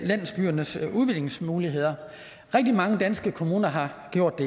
landsbyernes udviklingsmuligheder rigtig mange danske kommuner har gjort